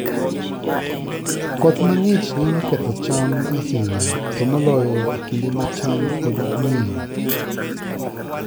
Koth mang'ich nyalo ketho cham ahinya, to moloyo e kinde ma cham pod nyien.